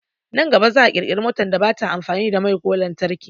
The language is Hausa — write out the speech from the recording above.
Nan gaba za'a kirkira motar da bata amfani da mai ko lantarki